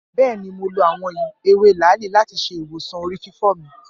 Bẹẹni, Mo lo awọn ewe laali lati ṣe iwosan orififo mi.